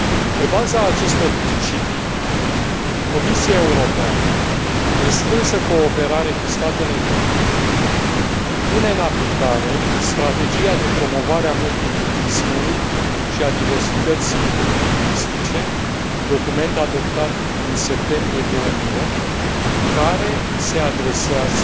Pe baza acestor principii, Comisia Europeană, în strânsă cooperare cu statele membre pune în aplicare strategia de promovare a multilingvismului și a diversității lingvistice, document adoptat în septembrie 2008, care se adresează